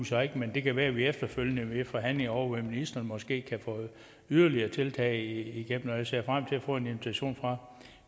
så ikke men det kan være at vi efterfølgende i forhandlinger hos ministeren måske kan få yderligere tiltag igennem og jeg ser frem til at få en invitation fra